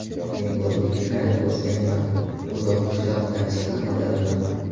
Men o‘zim qiynalib o‘sganman, uzoq qishloqdan chiqqan odamman.